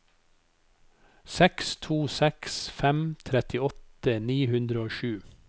seks to seks fem trettiåtte ni hundre og sju